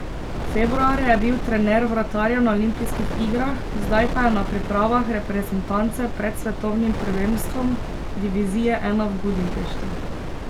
Februarja je bil trener vratarjev na olimpijskih igrah, zdaj pa je na pripravah reprezentance pred svetovnim prvenstvom divizije I v Budimpešti.